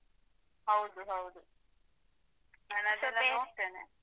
ಹೌದು ಹೌದು.